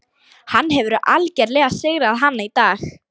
Hann hefur algerlega sigrað hana í dag.